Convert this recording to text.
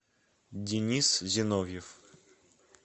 денис зиновьев